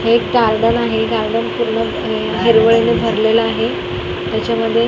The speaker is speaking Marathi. एक गार्डन आहे गार्डन पूर्णपणे हिरवळ ने भरलेल आहे त्याच्यामध्ये --